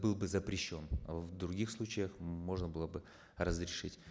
был бы запрещен в других случаях можно было бы разрешить